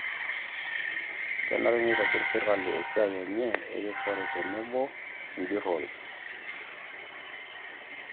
Kenare neitobirr sirkali esiai enye erikore tenebo o enjurrore